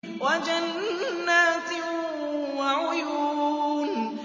وَجَنَّاتٍ وَعُيُونٍ